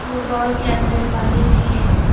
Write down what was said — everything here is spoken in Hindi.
वो बाउल के अंदर पानी भी है।